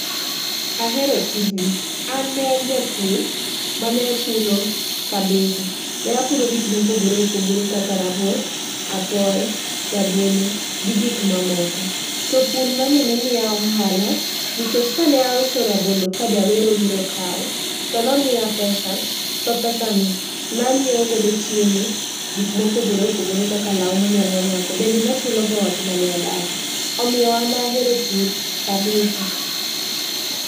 Ahero tijni, an nean japur mane puro kabisa. Ne apuro gik mopogore opogore kaka rabuon, apoyo, rabolo gi gik mamoko. To pur nani nemiya ohala nikech kane auso rabolo ka jawero biro kawo, to nomiya pesa. To pesa ni nanyiewo godo chiemo, gik mopogore opogore kaka lawu manyalo rwako. Bende nachulogo ot mane adake, omiyo an ahero pur kabisa.